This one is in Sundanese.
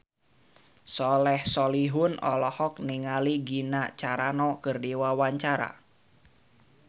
Soleh Solihun olohok ningali Gina Carano keur diwawancara